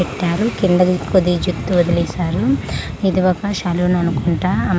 పెట్టారు కింద కొద్దిగా జుత్తు వదిలేశారు ఇది ఒక సలున్ అనుకుంటా అం--